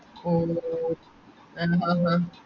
ഓ